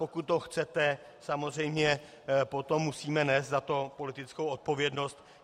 Pokud to chcete, samozřejmě potom musíme nést za to politickou odpovědnost.